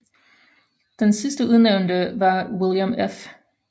Den sidste udnævnte var William F